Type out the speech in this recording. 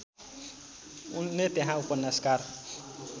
उनले त्यहाँ उपन्यासकार